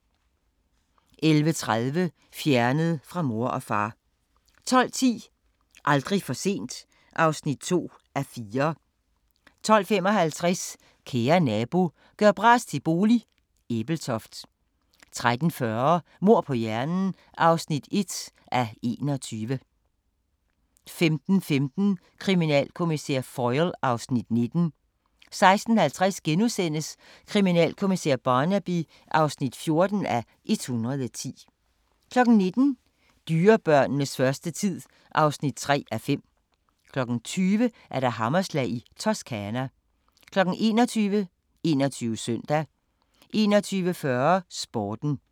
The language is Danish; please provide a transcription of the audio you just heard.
11:30: Fjernet fra mor og far 12:10: Aldrig for sent (2:4) 12:55: Kære nabo – gør bras til bolig – Ebeltoft 13:40: Mord på hjernen (1:21) 15:15: Kriminalkommissær Foyle (Afs. 19) 16:50: Kriminalkommissær Barnaby (14:110)* 19:00: Dyrebørnenes første tid (3:5) 20:00: Hammerslag i Toscana 21:00: 21 Søndag 21:40: Sporten